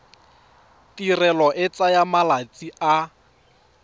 tirelo e tsaya malatsi a